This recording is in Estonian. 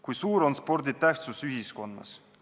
Kui suur on spordi tähtsus ühiskonnas?